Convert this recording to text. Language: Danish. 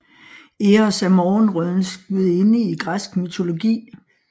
Eos er morgenrødens gudinde i græsk mytologi